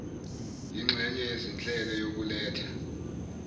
yinxenye yezinhlelo yokuletha